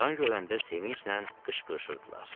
qan görəndə sevinclə qışqırırdılar.